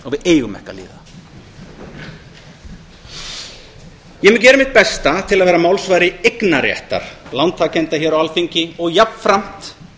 eigum ekki að líða það ég mun gera mitt besta til að vera málsvari eignarréttar lántakenda hér á alþingi og jafnframt